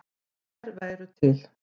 Þær væru til.